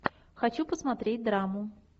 хочу посмотреть драму